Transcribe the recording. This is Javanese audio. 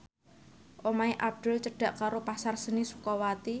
omahe Abdul cedhak karo Pasar Seni Sukawati